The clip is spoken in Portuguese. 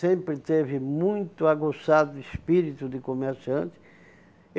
sempre teve muito aguçado espírito de comerciante.